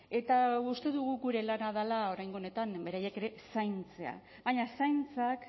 eta uste dugu gure lana dela oraingo honetan beraiek ere zaintzea baina zaintzak